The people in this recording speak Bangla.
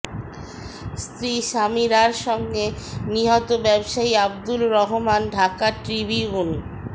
স্ত্রী সামিরার সঙ্গে নিহত ব্যবসায়ী আব্দুর রহমান ঢাকা ট্রিবিউন